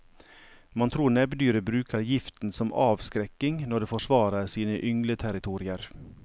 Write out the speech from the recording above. Man tror nebbdyret bruker giften som avskrekking når det forsvarer sine yngleterritorier.